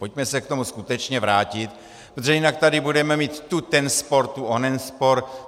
Pojďme se k tomu skutečně vrátit, protože jinak tady budeme mít tu ten spor, tu onen spor.